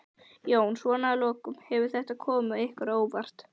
Jón: Svona að lokum, hefur þetta komið ykkur á óvart?